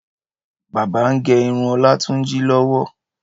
Bábà ń gé irun Ọlátúnjí lọ́wọ́